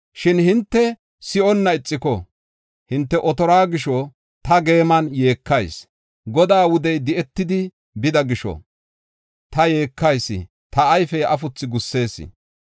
Shin hinte si7onna ixiko, hinte otoruwa gisho ta geeman yeekayis. Godaa wudey di7etidi bida gisho, ta yeekayis; ta ayfey afuthu gussees.